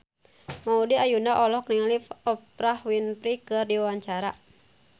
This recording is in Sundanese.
Maudy Ayunda olohok ningali Oprah Winfrey keur diwawancara